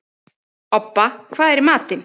Obba, hvað er í matinn?